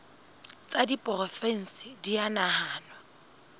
tsa diporofensi di a nahanwa